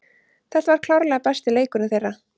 Þetta var klárlega besti leikurinn þeirra.